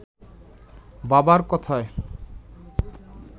বাবার কথায়